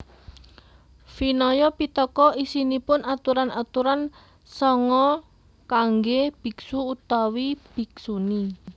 Vinaya Pittaka isinipun aturan aturan sangha kanggé biksu utawi biksuni